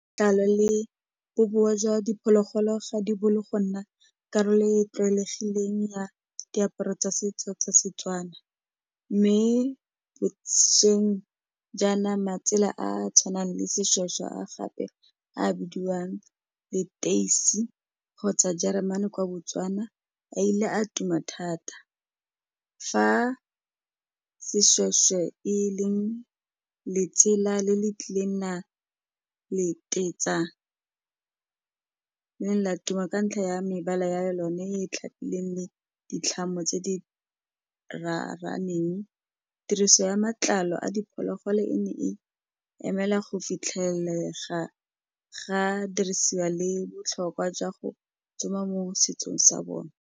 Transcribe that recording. Tlalo le bobowa jwa diphologolo ga di bo le go nna karolo e e tlwaelegileng ya diaparo tsa setso tsa Setswana mme bošweng jaana matsela a a tshwanang le seshweshwe a gape a bidiwang leteisi kgotsa jeremane kwa Botswana a ile a tuma thata fa seshweshwe e leng letsela le le tlileng le ne la tuma ka ntlha ya mebala ya yone e tlhapileng le ditlhamo tse di raraneng tiriso ya matlalo a diphologolo e ne e emela go fitlhelega ga dirisiwa le botlhokwa jwa go tsoma mo setsong sa bone.